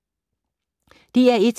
DR1